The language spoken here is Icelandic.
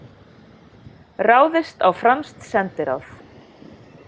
Ráðist á franskt sendiráð